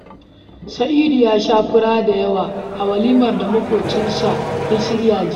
Sa'idu ya sha fura da yawa a walimar da maƙwacinsa ya shirya jiya